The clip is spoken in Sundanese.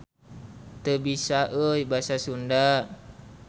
Teu biasa euy Basa Sunda.